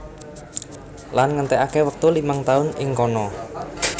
Lan ngentèkaké wektu limang taun ing kana